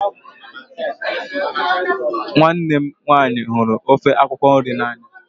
Nwanne mụ nwaanyị hụrụ ofe akwụkwo nri na anya.